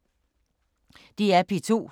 DR P2